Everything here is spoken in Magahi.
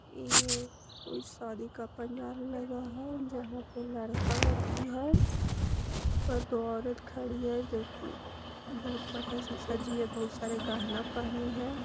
इ एक कोई शादी का पंडाल लगा हुआ है जहां पे लड़का लड़की है और दो औरत खड़ी है जो बहुत बढ़िया से सजी है बहुत सारा गहना पहनी हुईहै।